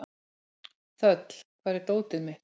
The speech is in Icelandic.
Þöll, hvar er dótið mitt?